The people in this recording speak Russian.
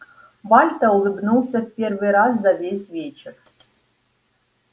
вальто улыбнулся в первый раз за весь вечер